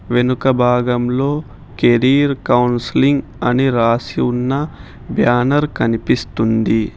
వెనుక భాగంలో career counselling అని రాసి ఉన్న బ్యానర్ కనిపిస్తుంది.